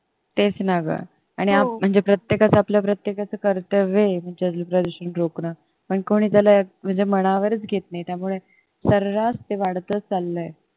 तेच ना गं म्हणजे आपलं म्हणजे प्रत्येकाचं कर्तव्य आहे जल प्रदूषण रोखणं पण कोणी त्याला म्हणजे मनावरचं घेत नाही त्यामुळे सऱ्हास ते वाढतच चाललंय.